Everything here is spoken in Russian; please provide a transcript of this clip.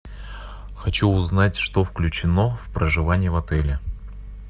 хочу узнать что включено в проживание в отеле